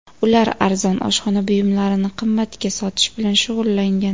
Ular arzon oshxona buyumlarini qimmatga sotish bilan shug‘ullangan.